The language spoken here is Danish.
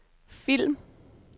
film